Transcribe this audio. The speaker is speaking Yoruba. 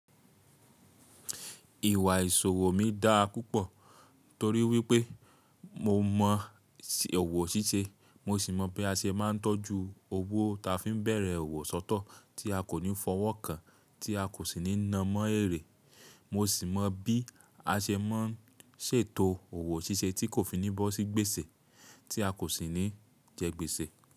Ìwà ìṣòwò mi dáa púpọ̀ torí wípé mo mọ̀ ọ̀wọ̀ ṣíṣe, mo sì mọ̀ bí a ṣe máa ń tọ́jú owó ta fi ń bẹ̀rẹ̀ òwò sọ́tọ̀ tí a kò ní fọwọ́ kan tí a kò sì ní na mọ́ èrè. Mo sì mọ bí a ṣe máa ń ṣètò owó ṣíṣe tí kò fi ní bọ́sí gbèsè tí a kò sì ní jẹ gbèsè.